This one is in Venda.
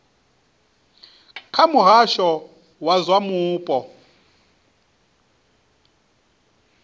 kha muhasho wa zwa mupo